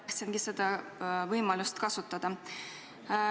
Tahangi seda võimalust kasutada.